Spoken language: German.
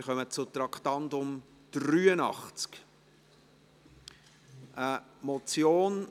Wir kommen zum Traktandum 83, eine Motion: